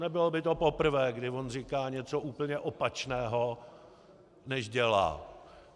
Nebylo by to poprvé, kdy on říká něco úplně opačného, než dělá.